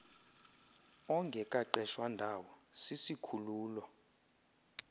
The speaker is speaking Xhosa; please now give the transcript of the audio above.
ongekaqeshwa ndawo sisikhululo